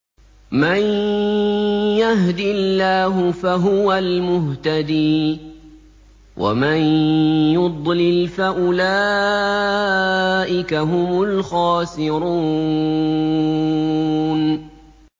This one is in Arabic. مَن يَهْدِ اللَّهُ فَهُوَ الْمُهْتَدِي ۖ وَمَن يُضْلِلْ فَأُولَٰئِكَ هُمُ الْخَاسِرُونَ